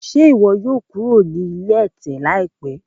Ṣe iwọ yoo lọ kuro ni ilé ẹtẹ laipẹ?